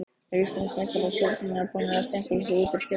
Eru Íslandsmeistarar Stjörnunnar búnir að stimpla sig út úr titilvörninni?